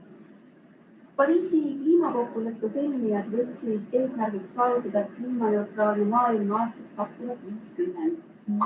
Pariisi kliimakokkuleppe sõlmijad võtsid eesmärgiks saavutada kliimaneutraalne maailm aastaks 2050.